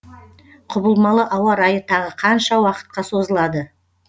құбылмалы ауа райы тағы қанша уақытқа созылады